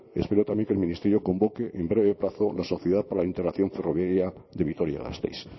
espero también que el ministerio convoque en breve plazo la sociedad para la integración ferroviaria de vitoria gasteiz